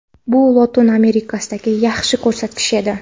Bu Lotin Amerikasidagi yaxshi ko‘rsatkich edi.